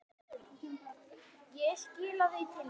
Ég skilaði því til þín.